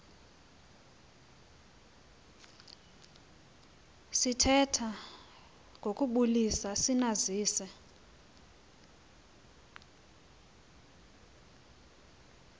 sithetha ngokubulisa sinazise